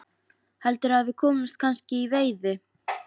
Heldurðu að við komumst kannski í veiði?